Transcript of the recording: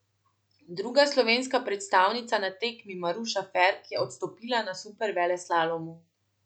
Druga slovenska predstavnica na tekmi Maruša Ferk je odstopila na superveleslalomu.